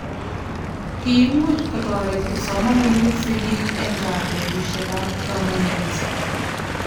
kiimuch kotoret kipsomaninik sigik eng' gaa betusiekab kamung'et